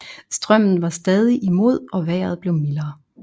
Strømmen var stadig imod og vejret blev mildere